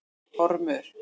Ormur